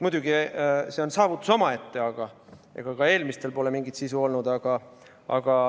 Muidugi, see on saavutus omaette, aga ega ka eelmistel pole mingit sisu olnud.